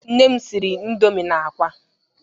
Nne m siri indọmii na ákwá.